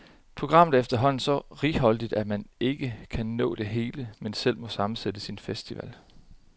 Programmet er efterhånden så righoldigt, at man ikke kan nå det hele, men selv må sammensætte sin festival.